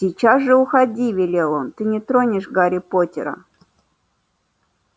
сейчас же уходи велел он ты не тронешь гарри поттера